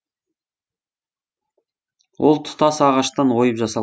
ол тұтас ағаштан ойып жасал